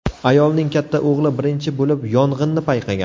Ayolning katta o‘g‘li birinchi bo‘lib yong‘inni payqagan.